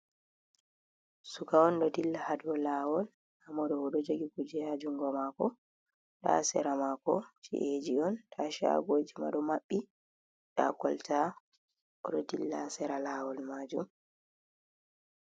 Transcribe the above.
Suka on ɗo dilla ha dou lawol, nda mo ɗo oɗo jogi kuje ha jungo mako, ha sera mako ci’eji on, nda chagoji ma ɗo maɓɓi, nda kolta oɗo dilla sera ha lawol majum.